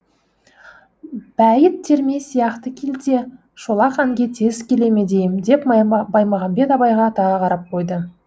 бәйіт терме сияқты келте шолақ әнге тез келе ме дейім деп баймағамбет абайға тағы қарап қойды